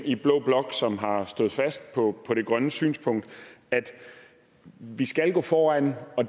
i blå blok som har stået fast på på det grønne synspunkt at vi skal gå foran og